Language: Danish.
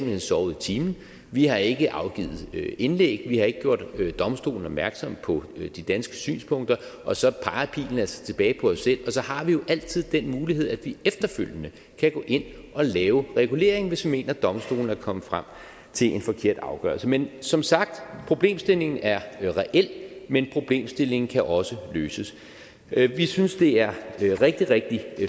hen sovet i timen vi har ikke afgivet indlæg vi har ikke gjort domstolen opmærksom på de danske synspunkter og så peger pilen altså tilbage på os selv og så har vi jo altid den mulighed at vi efterfølgende kan gå ind at lave regulering hvis vi mener at domstolen er kommet frem til en forkert afgørelse men som sagt problemstillingen er reel men problemstillingen kan også løses vi synes det er rigtig rigtig